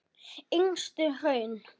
Yngstu hraun